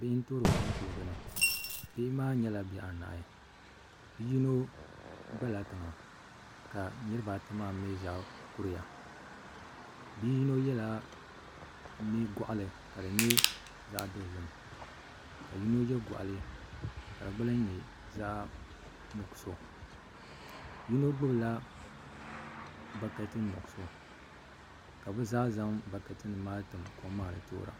Bihi n toori kom kuligi ni bihi maa nyɛla bihi anahi bi yino gbala tiŋa ka niraba ata maa mii zaa kuriya bi yino yɛla goɣali ka di nyɛ zaɣ dozim ka yino yɛ goɣali ka di gba lahi nyɛ zaɣ nuɣso yino gbubila bakɛti nuɣso ka bi zaa zaŋ bakɛti nim maa tim kom maa ni toora